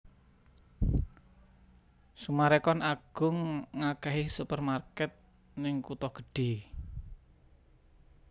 Summarecon Agung ngakehi supermarket ning kuto gedhe